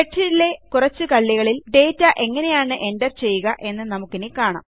സ്പ്രെഡ്ഷീറ്റിലെ കുറച്ച് കള്ളികളിൽ ഡാറ്റ എങ്ങനെയാണ് എൻറർ ചെയ്യുക എന്ന്നമുക്കിനി കാണാം